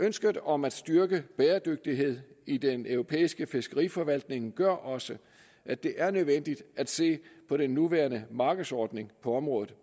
ønsket om at styrke bæredygtighed i den europæiske fiskeriforvaltning gør også at det er nødvendigt at se på den nuværende markedsordning på området